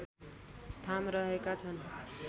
थाम रहेका छन्